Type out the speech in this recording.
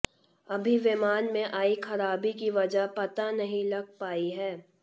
अभी विमान में आई ख़राबी की वज़ह पता नहीं लग पाई है